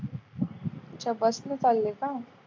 अच्छा bus ने चालले का?